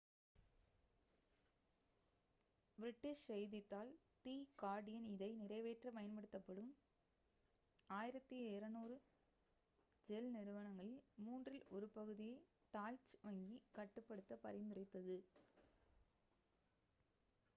British செய்தித்தாள் the Guardian இதை நிறைவேற்ற பயன்படுத்தப்படும் 1200 ஷெல் நிறுவனங்களில் மூன்றில் ஒரு பகுதியை டாய்ச் வங்கி கட்டுப்படுத்த பரிந்துரைத்தது